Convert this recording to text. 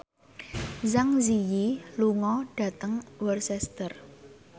Zang Zi Yi lunga dhateng Worcester